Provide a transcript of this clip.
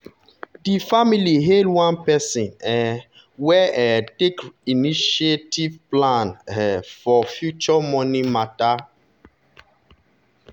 di family hail one person um wey um take initiative plan um for future money matter.